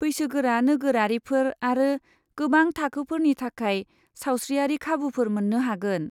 बैसोगोरा नोगोरारिफोर आरो गोबां थाखोफोरनि थाखाय सावस्रियारि खाबुफोर मोन्नो हागोन।